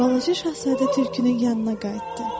Balaca Şahzadə tülkünün yanına qayıtdı.